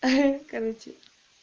хи-хи короче